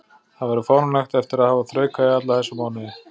Það væri fáránlegt eftir að hafa þraukað í alla þessa mánuði.